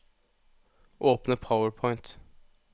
Åpne PowerPoint